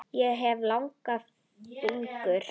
Ég hef langa fingur.